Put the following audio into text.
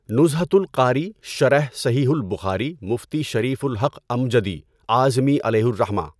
نُزهَةُ القاری شرح صحیحُ البخاری مفتی شریف الحق امجدی اعظمی علیہ الرحمه